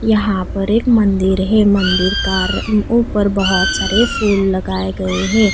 यहां पर एक मंदिर है मंदिर का ऊपर बहुत सारे फूल लगाए गए है।